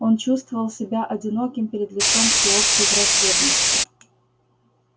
он чувствовал себя одиноким перед лицом всеобщей враждебности